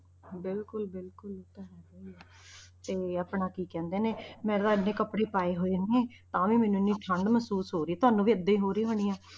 ਬਿਲਕੁਲ ਬਿਲਕੁਲ ਇਹ ਤਾਂ ਹੈਗਾ ਹੀ ਹੈ ਤੇ ਆਪਣਾ ਕੀ ਕਹਿੰਦੇ ਨੇ ਮੈਂ ਤਾਂ ਇੰਨੇ ਕੱਪੜੇ ਪਾਏ ਹੋਏ ਨੇ, ਤਾਂ ਵੀ ਮੈਨੂੰ ਇੰਨੀ ਠੰਢ ਮਹਿਸੂਸ ਹੋ ਰਹੀ ਤੁਹਾਨੂੰ ਵੀ ਏਦਾਂ ਹੀ ਹੋ ਰਹੀ ਹੋਣੀ ਆਂ।